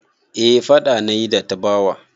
Eh faɗa na yi da Tabawa.